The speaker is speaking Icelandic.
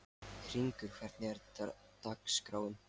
Hringur, hvernig er dagskráin?